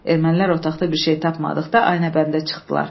Ermənilər otaqda bir şey tapmadıqda aynəbəndə çıxdılar.